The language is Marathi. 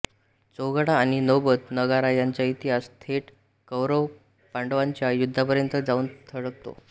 चौघडा आणि नौबत नगारा यांचा इतिहास थेट कौरवपांडवांच्या युद्धापर्यंत जाऊन थडकतो